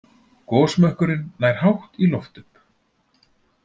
Gosmökkurinn nær hátt í loft upp.